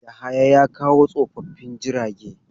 Yahaya ya kawo tsofaffin jirage.